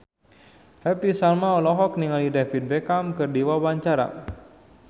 Happy Salma olohok ningali David Beckham keur diwawancara